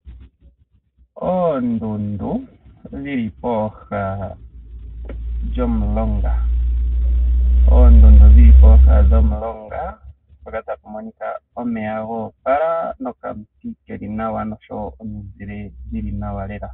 Oondundu dhili pooha dhomulunga mpoka tapu monika omeya goopala nokamuti keli nawa nosho woo okamuzile keli nawa lela.